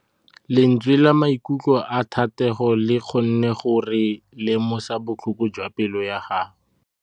Lentswe la maikutlo a Thategô le kgonne gore re lemosa botlhoko jwa pelô ya gagwe.